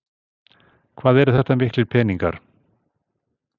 Hvað eru þetta miklir peningar?